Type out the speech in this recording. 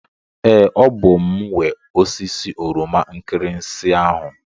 Ee, ọ bụ m nwe osisi oroma nkirinsi ahụ.